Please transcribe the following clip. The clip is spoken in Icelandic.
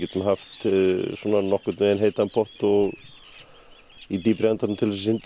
hafa nokkurn veginn heitan pott og í dýpri endanum til að synda